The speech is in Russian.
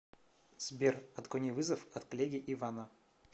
сбер отклони вызов от коллеги ивана